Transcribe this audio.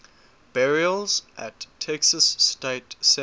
burials at texas state cemetery